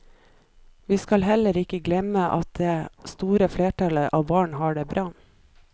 Vi skal heller ikke glemme at det store flertallet av barn har det bra.